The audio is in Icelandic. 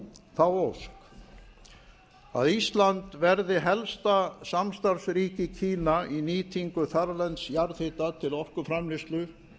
þá ósk að ísland verði helsta samstarfsríki kína í nýtingu þarlends jarðhita til orkuframleiðslu